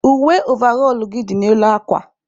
Uwe ọvarol gị dị n'elu akwa.